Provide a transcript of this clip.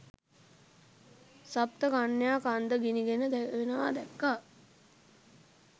සප්ත කන්‍යා කන්ද ගිනිගෙන දැවෙනවා දැක්කා.